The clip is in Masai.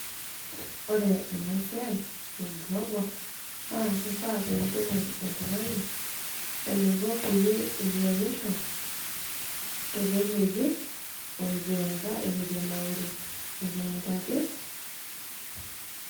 Ore enasiai ee glovo naa keitengen oltungani teniki teneinyangisho teleleki itueka, ituenauru etonta ake.